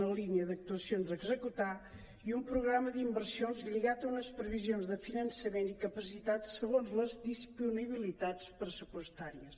una línia d’actuacions a executar i un programa d’inversions lligat a unes previsions de finançament i capacitats segons les disponibilitats pressupostàries